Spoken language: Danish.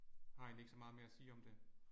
Har egentlig ikke så meget mere at sige om det